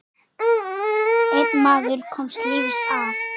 Einn maður komst lífs af.